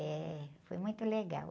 É, foi muito legal.